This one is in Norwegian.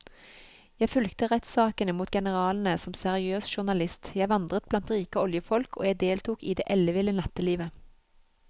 Jeg fulgte rettssakene mot generalene som seriøs journalist, jeg vandret blant rike oljefolk og jeg deltok i det elleville nattelivet.